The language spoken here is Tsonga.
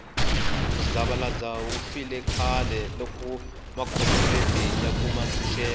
muzavalazo wu file khale loko makhomoredi ya kuma ntshuxeko